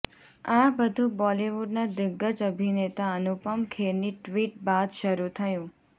આ બધું બોલિવુડનાં દિગ્ગજ અભિનેતા અનુપમ ખેરની ટ્વિટ બાદ શરૂ થયું